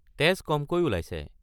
তেজ কমকৈ ওলাইছে।